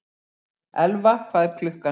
Elfa, hvað er klukkan?